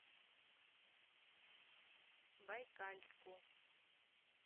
байкальску